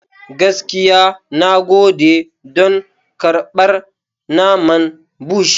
Gaskiya, na gode don karɓar naman Bush.